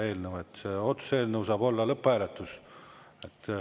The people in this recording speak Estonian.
Otsuse eelnõul saab olla lõpphääletus.